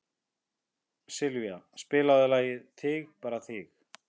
Sylvía, spilaðu lagið „Þig bara þig“.